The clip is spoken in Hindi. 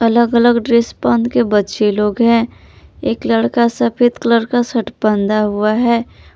अलग अलग ड्रेस पहन के बच्चे लोग हैं एक लड़का सफेद कलर का शर्ट पहना हुआ है।